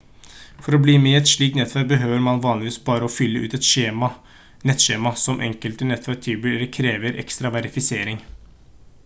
for å bli med i et slikt nettverk behøver man vanligvis bare å fylle ut et nettskjema men enkelte nettverk tilbyr eller krever ekstra verifisering